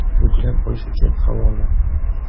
Yuklab olish uchun havola: .